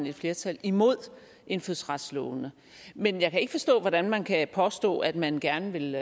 et flertal imod indfødsretslovene men jeg kan ikke forstå hvordan man kan påstå at man gerne vil